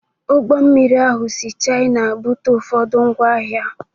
Ụgbọ mmiri ahụ si China bute ụfọdụ ngwa ahịa